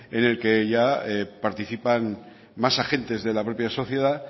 en el que ya participan más agentes de la propia sociedad